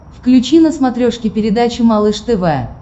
включи на смотрешке передачу малыш тв